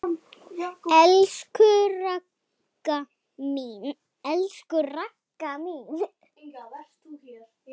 Elsku Ragga mín.